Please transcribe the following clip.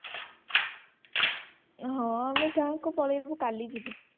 ହଁ ଆମେ ଗାଁକୁ ପଳେଇବୁ କାଲି ଯିବୁ